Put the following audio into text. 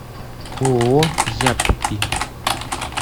ооо яппи